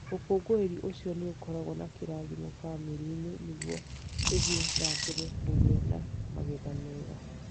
Ũkũngũĩri ũcio nĩ ũkoragwo na kĩrathimo bamĩrĩ-inĩ nĩguo ithie na mbere kũgĩa na magetha mega.